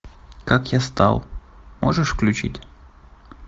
как я стал можешь включить